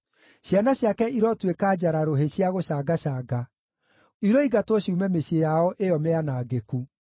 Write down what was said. Ciana ciake irotuĩka njara-rũhĩ cia gũcangacanga; iroingatwo ciume mĩciĩ yao ĩyo mĩanangĩku.